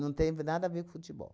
Não tem nada a ver com futebol.